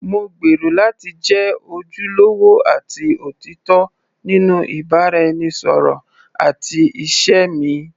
Mo gbèrò láti jẹ́ ojúlówó àti òtítọ́ nínú ìbáraẹnisọ̀rọ̀ àti ìṣe mi.